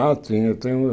Ah, tinha. Eu tenho